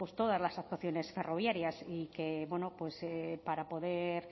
todas las actuaciones ferroviarias para poder